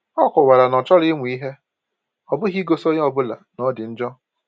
O kọwara na ọ chọrọ ịmụ ihe, ọ bụghị igosi onye ọ bụla na ọ dị njọ.